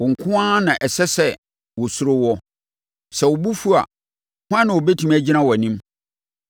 Wo nko ara na ɛsɛ sɛ wɔsuro woɔ. Sɛ wo bo fu a, hwan na ɔbɛtumi agyina wʼanim?